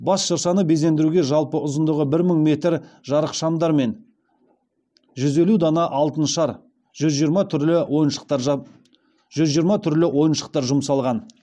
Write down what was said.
бас шыршаны безендіруге жалпы ұзындығы бір мың метр жарықшамдар мен жүз елу дана алтын шар жүз жиырма түрлі ойыншықтар жұмсалған